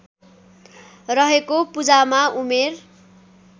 रहेको पूजामा उमेर